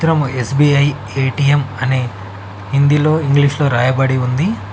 చిత్రము SBI ATM అని హిందీలో ఇంగ్లీషులో రాయబడి ఉంది.